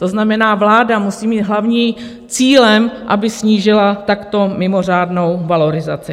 To znamená, vláda musí mít hlavní cíl, aby snížila takto mimořádnou valorizaci.